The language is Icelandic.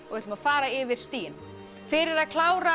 ætlum að fara yfir stigin fyrir að klára